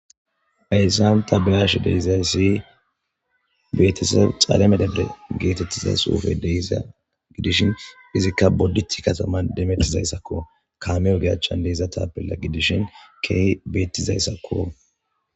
Hayssan taa beyash de'izayssi betiseb dhale medhede geetettizays xuufe de'iza gidishin izikka boddit kataman demettizayssakko kamey oge achchan de'iza taapilla gidishin keehi beettizayssakko